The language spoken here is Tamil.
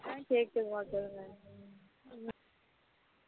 ஆ கேகக்குது மா சொல்லுங்க